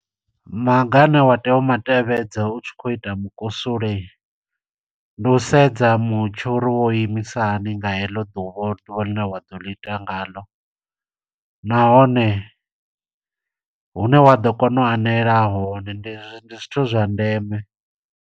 Maga ane wa tea u ma tevhedza utshi khou ita mukusule. Ndi u sedza mutsho uri wo imisa hani nga heḽo ḓuvha, uri ḓuvha ḽine wa ḓo ḽi ita nga ḽo. Nahone, hune wa ḓo kona u anela hone, ndi ndi zwithu zwa ndeme.